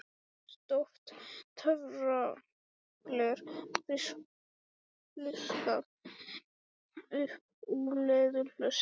Stórt töfragler fiskað upp úr leðurhulstri